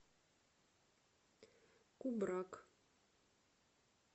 кубрак